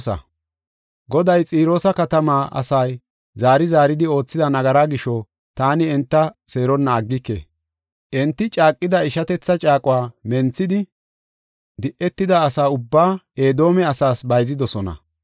Goday, “Xiroosa katamaa asay zaari zaari oothida nagaraa gisho, taani enta seeronna aggike. Enti caaqida ishatetha caaquwa menthidi, de7etida asa ubbaa Edoome asaas bayzidosona.